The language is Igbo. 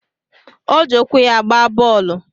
O ji ụkwụ ya gbaa bọọlụ